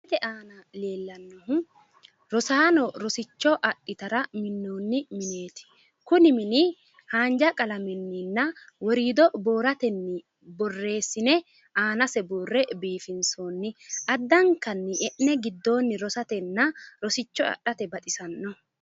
misilete aana leellannohu rosaano rosicho adhitara minnoonni mineeti kuni min haanja qalamenninna woriido booratenni qalamenni borreessine aanase buurre biifinsoonni addankanni enne giddoonni rosatenna rosicho adhate baxisanno.